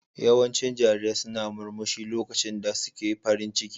Yawancin jarirai suna murmushi lokacin da suke farin ciki.